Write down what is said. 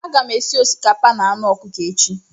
Aga m esi osikapa na anụ ọkụkọ echi.